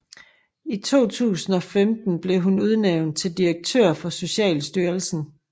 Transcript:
I 2015 blev hun udnævnt til direktør for Socialstyrelsen